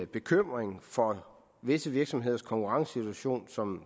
bekymring for visse virksomheders konkurrencesituation som